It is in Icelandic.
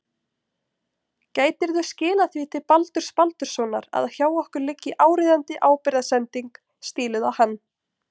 Gætirðu skilað því til Baldurs Baldurssonar að hjá okkur liggi áríðandi ábyrgðarsending stíluð á hann.